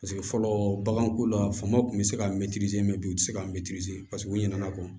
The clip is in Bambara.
Paseke fɔlɔ bagan ko la famaw tun bɛ se ka u tɛ se ka paseke u ɲinɛna kɔ